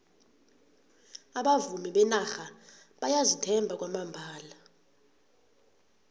abavumi benarha bayazithemba kwamambala